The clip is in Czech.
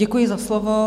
Děkuji za slovo.